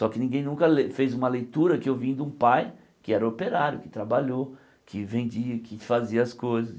Só que ninguém nunca lê fez uma leitura que eu vim de um pai que era operário, que trabalhou, que vendia, que fazia as coisas.